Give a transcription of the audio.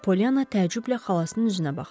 Polyana təəccüblə xalasının üzünə baxdı.